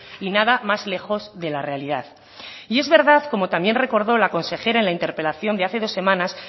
y nada más lejos de la realidad y es verdad como también recordó la consejera en la interpelación de hace dos semanas